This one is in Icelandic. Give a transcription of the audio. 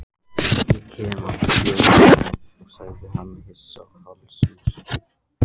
Ég kem af fjöllum, sagði hann hissa og hálfsmeykur.